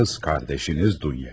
Qız qardaşınız Dunyayı.